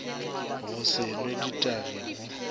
go se new ditagi go